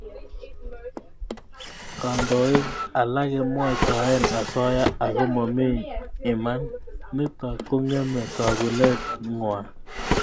Kandoik alak kemwaitae asoya ako ma iman. Nitok kong'eme tagunet ng'wa.